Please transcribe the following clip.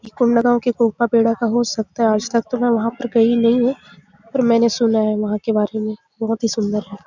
ये कोंडागांव के कोपा बेडा का हो सकता है आज तक तो मै वहाँ पर गई नहीं हूं पर मैंने सुना है वहाँ के बारे में बहुत ही सुंदर है।